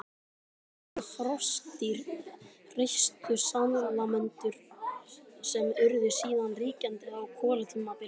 Það voru froskdýr, hreistursalamöndrur, sem urðu síðan ríkjandi á kolatímabilinu.